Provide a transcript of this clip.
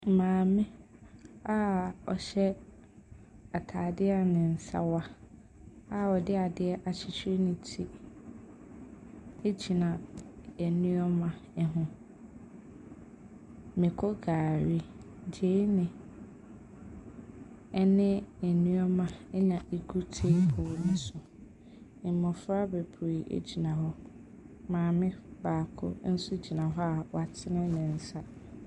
Maame a ɔhyɛ ataade a ne nsa wa ɔde adeɛ akyikyiri ne ti egyina nneɛma ɛho. Mako, gari, gyeene, ɛne nneɛma ɛna egu teebol ne so. Mmofra beberee egyina hɔ. Maame baako nso gyina hɔ a w'atene ne nsa.